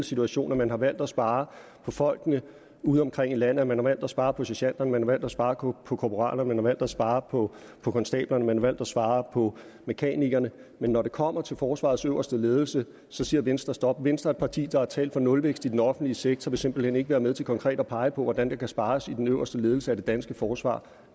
situation at man har valgt at spare på folkene udeomkring i landet man har valgt at spare på sergenterne man har valgt at spare på korporalerne man har valgt at spare på på konstablerne man har valgt at spare på mekanikerne men når det kommer til forsvarets øverste ledelse så siger venstre stop venstre et parti der har talt for nulvækst i den offentlige sektor vil simpelt hen ikke være med til konkret at pege på hvordan der kan spares i den øverste ledelse af det danske forsvar